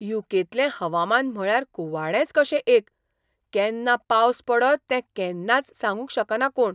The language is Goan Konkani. यू. के. तलें हवामान म्हळ्यार कुवाडेंच कशें एक, केन्ना पावस पडत तें केन्नाच सांगूंक शकना कोण.